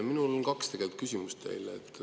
Mul on teile kaks küsimust.